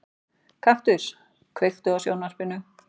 Kaktus, kveiktu á sjónvarpinu.